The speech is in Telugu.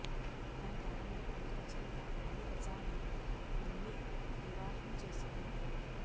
తన కాలంలో ప్రముఖ రచయిత అలి రజాను నిమ్మి వివాహం చేసుకున్నారు